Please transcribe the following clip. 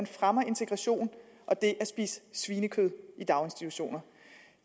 fremme integration og det at spise svinekød i daginstitutioner